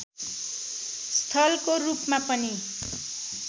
स्थलको रूपमा पनि